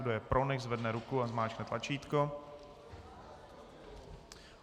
Kdo je pro, nechť zvedne ruku a zmáčkne tlačítko.